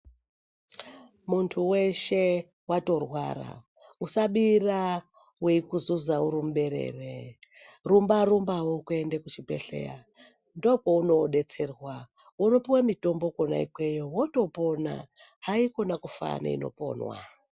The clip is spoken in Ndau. Muntu weshe watorwara usabira weikuzuza uri muberere rumba rumbawo kuenda kuchibhedhleya ndokwaunodetserwa unopiwa mitombo kona ikweyo wotopona haikona kufa neinoponwa.